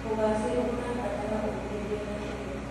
ũgacĩru ũrabatara ũmĩrĩria na kĩyo.